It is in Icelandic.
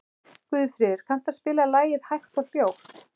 Guðfríður, kanntu að spila lagið „Hægt og hljótt“?